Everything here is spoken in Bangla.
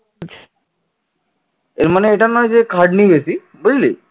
এর মানে এটা নয় যে খাটনি বেশি বুঝলি